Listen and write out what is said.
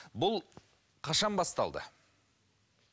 бұл қашан басталды